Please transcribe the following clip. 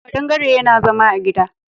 Ƙadangare yana zama a gida.